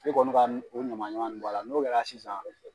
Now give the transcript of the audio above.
Ne kɔni ka o ɲamanɲaman bɔ a la n'o kɛra sisan